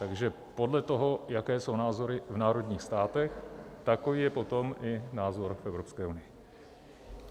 Takže podle toho, jaké jsou názory v národních státech, takový je potom i názor Evropské unie.